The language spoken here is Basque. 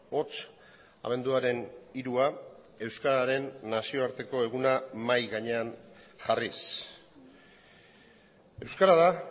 hots abenduaren hirua euskararen nazioarteko eguna mahai gainean jarriz euskara da